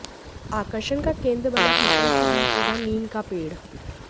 आकर्षण का केंद्र बना पीपल के बीच उगा नीम का पेड़